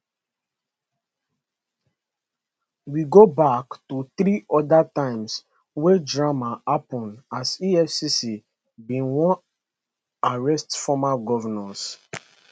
we go back to three oda times wey drama happen as efcc bin wan arrest former govnors